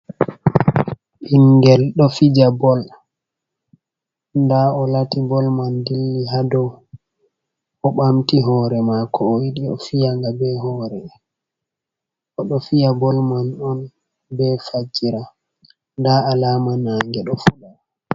Ɓingel ɗo fija bol nda o'lati bol man dilli haa dou. O'ɓamti hore mako o'yiɗi o'fiyanga be hore. Oɗo fiya bol man on be fajira nda alama nange do fuɗa.